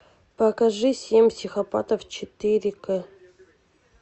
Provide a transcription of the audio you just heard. покажи семь психопатов четыре к